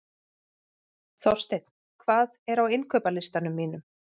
Þorsteinn, hvað er á innkaupalistanum mínum?